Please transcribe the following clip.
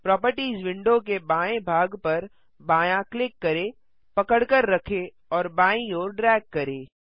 properties window के बाएँ भाग पर बायाँ क्लिक करें पकड़कर रखें और बायीं ओर ड्रैग करें